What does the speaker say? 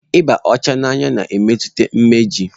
Ịba ọcha n'anya na-emetụta imeju.